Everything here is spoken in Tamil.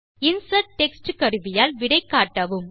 இன்சர்ட் டெக்ஸ்ட் கருவியால் விடை காட்டவும்